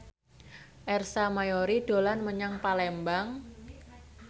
Ersa Mayori dolan menyang Palembang